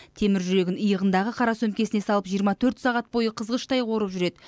темір жүрегін иығындағы қара сөмкесіне салып жиырма төрт сағат бойы қызғыштай қорып жүреді